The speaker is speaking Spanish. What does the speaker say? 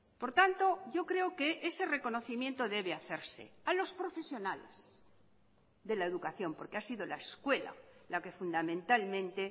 por tanto yo creo que ese reconocimiento debe hacerse a los profesionales de la educación porque ha sido la escuela la que fundamentalmente